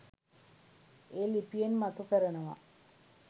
ඒ ලිපියෙන් මතු කරනවා.